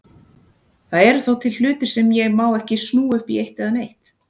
Það eru þá til hlutir sem ég má ekki snúa upp í eitt eða neitt.